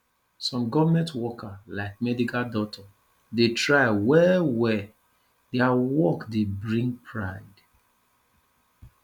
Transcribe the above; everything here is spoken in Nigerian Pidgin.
some government worker like medical doctor dey try well well their work dey bring pride